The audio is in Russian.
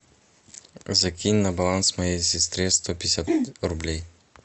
закинь на баланс моей сестре сто пятьдесят рублей